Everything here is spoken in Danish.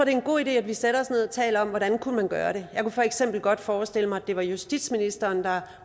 er en god idé at vi sætter os ned og taler om hvordan man kunne gøre det jeg kunne for eksempel godt forestille mig at det var justitsministeren der